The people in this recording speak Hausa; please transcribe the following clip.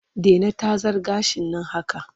Dena tazar gashin nan haka!